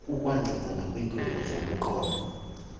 kukwanceda nakwiintlungu zomqolo